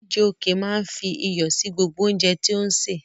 Chijioke máa ń fi iyọ̀ sí gbogbo oúnjẹ tí ó ń sè.